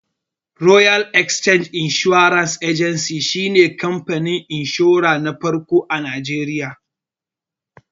Royal Exchange Assurance Agency shi ne kamfanin inshura na farko a Najeriya